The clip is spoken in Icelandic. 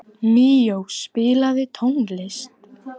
Míó, spilaðu tónlist.